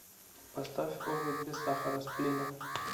поставь орбит без сахара сплина